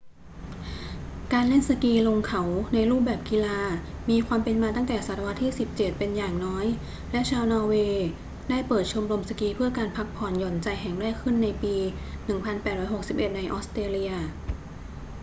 การเล่นสกีลงเขาในรูปแบบกีฬามีความเป็นมาตั้งแต่ศตวรรษที่ 17 เป็นอย่างน้อย และชาวนอร์เวย์ได้เปิดชมรมสกีเพื่อการพักผ่อนหย่อนใจแห่งแรกขึ้นในปี 1861 ในออสเตรเลีย